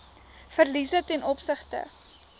verliese ten opsigte